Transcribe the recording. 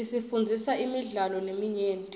isifundzisa imidlalo leminyenti